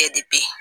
Bɛɛ de bɛ ye